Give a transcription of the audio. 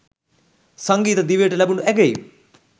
සංගීත දිවියට ලැබුණු ඇගයීම්